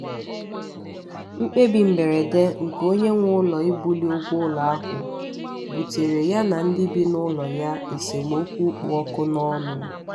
mkpebi mberede nke onye nwe ụlọ ibuli ụgwọ ụlọ ahụ buteere ya ndị bị n'ụlọ ya esemokwu kpụ ọkụ n'ọnụ